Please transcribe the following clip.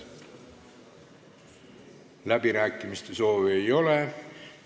Läbirääkimiste soovi ei ole.